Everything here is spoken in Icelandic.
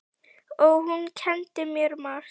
Og hún kenndi mér margt.